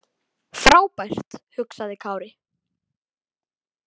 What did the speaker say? Frábært, hugsaði Kári.